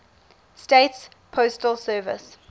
states postal service